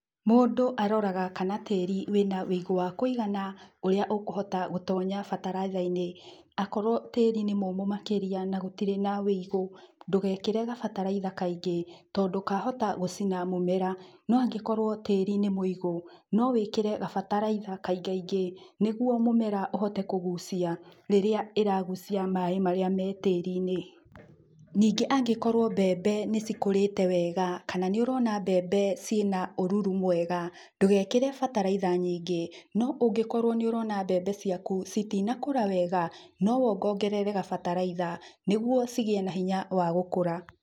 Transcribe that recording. Mũndũ aroraga kana tĩri wĩna wĩigu wa kũigana, ũria ũkũhota gũtonya bataraitha-ini. Akorwo tĩri nĩ mũmũ makĩria na gũtirĩ na ũigũ ndũgekĩre gabataraitha kaingĩ. Tondu kahota gũcina mũmera, no angĩkorwo tĩri nĩ mũigu no wĩkĩre gabataraitha kaingaingĩ nĩguo mũmera ũhote kũgucia rĩrĩa ĩragucia maĩ marĩa me tĩri-ini. Ningĩ angikorwo mbembe nĩcikũrĩte wega kana nĩũrona mbembe ciĩna ũruru mwega ndũgekĩre bataraitha nyingĩ. No ũngĩkorwo nĩ ũrona mbembe ciaku citinakũra wega, no wongongerere gabataraitha nĩguo cigĩe na hinya wa gũkũra.